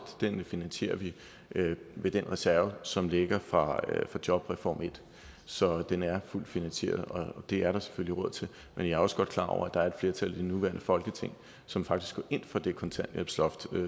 finansierer vi med den reserve som ligger fra jobreform en så den er fuldt finansieret og der er selvfølgelig råd til det men jeg er også godt klar over at der er et flertal i det nuværende folketing som faktisk går ind for det kontanthjælpsloft